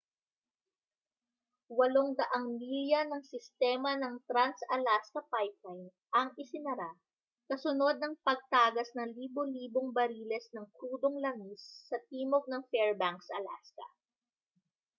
800 milya ng sistema ng trans-alaska pipeline ang isinara kasunod ng pagtagas ng libo-libong bariles ng krudong langis sa timog ng fairbanks alaska